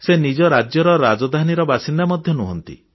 ସେ ନିଜ ରାଜ୍ୟର ରାଜଧାନୀର ବାସିନ୍ଦା ମଧ୍ୟ ନୁହନ୍ତି